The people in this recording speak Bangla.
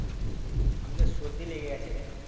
আমাকে সর্দি লেগে গেছে রে।